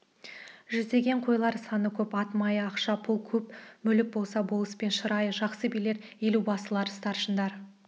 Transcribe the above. жүздеген қойлар саны көп ат майы ақша-пұл көп мүлік болса болыспен шырайы жақсы билер елубасылар старшындар